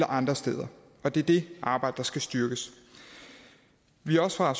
og andre steder og det er det arbejde der skal styrkes vi er også fra